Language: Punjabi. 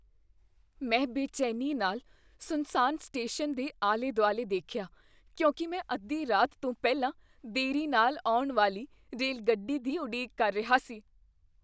ਮੈਂ ਬੇਚੈਨੀ ਨਾਲ ਸੁੰਨਸਾਨ ਸਟੇਸ਼ਨ ਦੇ ਆਲੇ ਦੁਆਲੇ ਦੇਖਿਆ ਕਿਉਂਕਿ ਮੈਂ ਅੱਧੀ ਰਾਤ ਤੋਂ ਪਹਿਲਾਂ ਦੇਰੀ ਨਾਲ ਆਉਣ ਵਾਲੀ ਰੇਲਗੱਡੀ ਦੀ ਉਡੀਕ ਕਰ ਰਿਹਾ ਸੀ